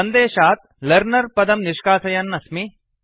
सन्देशात् learner learner पदं निष्कासयन् अस्मि